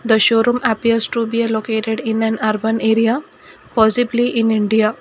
the showroom appears to be a located in an urban area possibly in India.